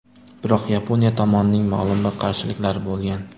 Biroq Yaponiya tomonining ma’lum bir qarshiliklari bo‘lgan.